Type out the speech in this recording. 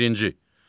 Birinci.